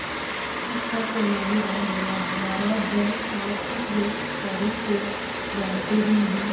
इस पर तेनालीराम बोला महाराज जब आप उस व्यापारी को जानते ही नहीं